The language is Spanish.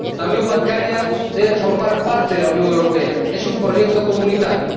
La unión bancaria debe formar parte de la Unión Europea, es un proyecto comunitario.